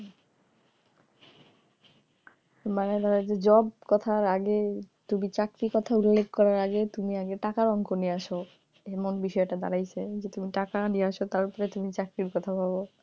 মানে ধরো job করার আগে চাকরি কথা উল্লেখ করার আগে তুমি আগে টাকার অঙ্ক নিয়ে আসো এমন বিষয়টা দাড়াইসে যে টাকা নিয়া আসো তারপর তুমি চাকরির কথা ভাবো,